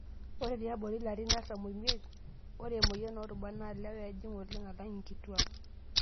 Ore tiabori larin artam o miet, ore emoyian oorubat naa lewa ejing' oleng' alang' nkituak.